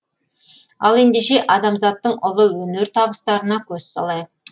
ал ендеше адамзаттың ұлы өнер табыстарына көз салайық